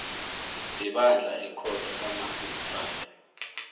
sebandla ekhotho kamarhistrada